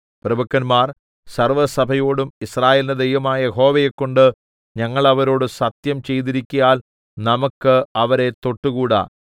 പ്രഭുക്കന്മാർ സർവ്വസഭയോടും യിസ്രായേലിന്റെ ദൈവമായ യഹോവയെക്കൊണ്ട് ഞങ്ങൾ അവരോട് സത്യംചെയ്തിരിക്കയാൽ നമുക്ക് അവരെ തൊട്ടുകൂടാ